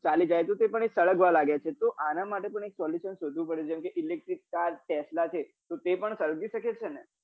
ચાલી જાય તો તે પણ સળગવા લાગે છે તો અન માટે પણ એક solution શોધવું પડે જેમ કે electric cartesla ચે તો તે પણ સળગી સકે છે ને